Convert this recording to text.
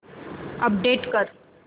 update कर